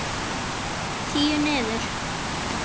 Tíu niður.